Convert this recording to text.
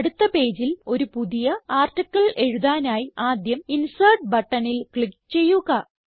അടുത്ത പേജിൽ ഒരു പുതിയ ആർട്ടിക്കിൾ എഴുതാനായി ആദ്യം ഇൻസെർട്ട് ബട്ടണിൽ ക്ലിക്ക് ചെയ്യുക